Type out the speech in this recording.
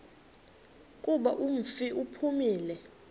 kuba umfi uphumile